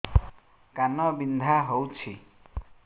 କାନ ବିନ୍ଧା ହଉଛି